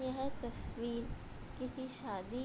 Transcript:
यह तस्वीर किसी शादी --